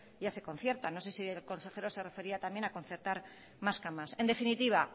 ya se conciertan no sé si el consejero se refería también a concertar mas camas en definitiva